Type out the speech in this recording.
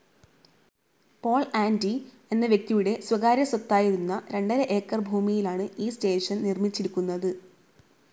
Paul ആൻ്റി എന്ന വ്യക്തിയുടെ സ്വകാര്യ സ്വത്തായിരുന്ന രണ്ടര ഏക്കർ ഭൂമിയിലാണ് ഈ സ്റ്റേഷൻ നിർമ്മിച്ചിരിക്കുന്നത്.